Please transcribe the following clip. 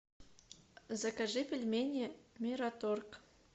закажи пельмени мираторг